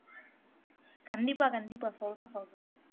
கண்டிப்பா கண்டிப்பா சொல்றேன் சொல்றேன்